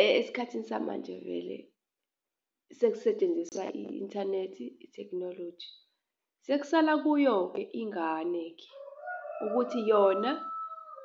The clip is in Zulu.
esikhathini samanje vele sekusetshenziswa i-inthanethi, ithekhinoloji. Sekusala kuyo-ke ingane-ke ukuthi yona